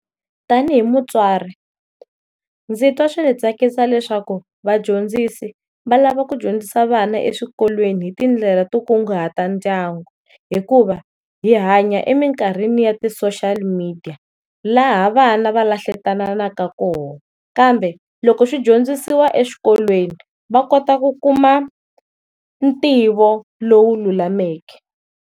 Tanihi mutswari ndzi ta swi ndzi tsakisi leswaku vadyondzisi va lava ku dyondzisa vana eswikolweni hi tindlela to kunguhata ndyangu, hikuva hi hanya eminkarhini ya ti social media laha vana va lahlekenanaka kona kambe loko swi dyondzisiwa eswikolweni va kota ku kuma ntivo lowu lulameke.